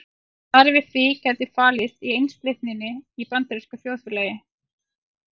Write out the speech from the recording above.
Svarið við því gæti falist í einsleitninni í bandarísku þjóðfélagi.